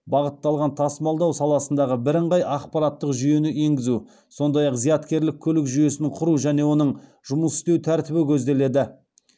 бағытталған тасымалдау саласындағы бірыңғай ақпараттық жүйені енгізу сондай ақ зияткерлік көлік жүйесін құру және оның жұмыс істеу тәртібі көзделеді